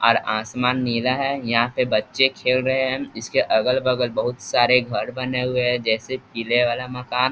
Are आसमान नीला है यहां पे बच्चे खेल रहे हैं इसके अगल-बगल बहुत सारे घर बने हुए है जैसे पीले वाला मकान।